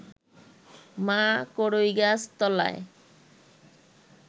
মা কড়ইগাছ তলায়